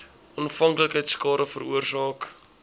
afhanklikheid skade veroorsaak